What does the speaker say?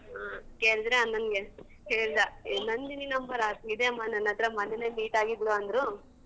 ಆ. ಕೇಳಿದ್ರೆ ಅಣ್ಣಂಗೆ ಹೇಳ್ದ ಏ ನಂದಿನಿ number ಆ ಇದೆಯಮ್ಮ ನನ್ ಹತ್ರ ಮೊನ್ನೆನೇ meet ಆಗಿದ್ಲು ಅಂದ್ರು.